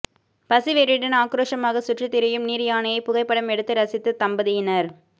பசி வெறியுடன் ஆக்ரோஷமாக சுற்றி திரியும் நீர் யானையை புகைப்படம் எடுத்து ரசித்த தம்பதியினர்